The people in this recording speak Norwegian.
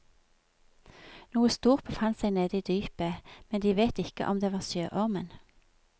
Noe stort befant seg nede i dypet, men de vet ikke om det var sjøormen.